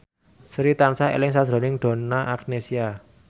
Sri tansah eling sakjroning Donna Agnesia